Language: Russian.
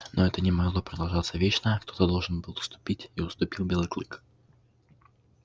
но это не могло продолжаться вечно кто то должен был уступить и уступил белый клык